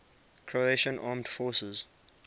croatian armed forces